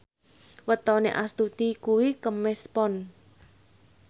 wetone Astuti kuwi Kemis Pon